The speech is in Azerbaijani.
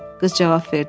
qız cavab verdi.